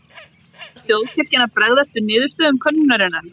En ætlar þjóðkirkjan að bregðast við niðurstöðum könnunarinnar?